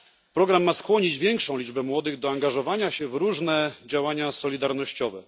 Program ma skłonić większą liczbę młodych do angażowania się w różne działania solidarnościowe.